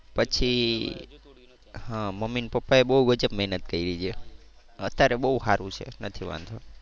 હા મમ્મી ને પપ્પા એ વચ્ચે બહુ ગજબ મહેનત કરી છે. અત્યારે બહુ સારું છે નથી વાંધો.